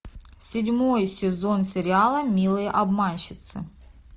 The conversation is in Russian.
седьмой сезон сериала милые обманщицы